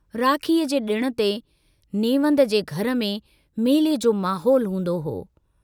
राखीअ जे डिण ते नेवंद जे घर में मेले जो माहौल हूंदो हो।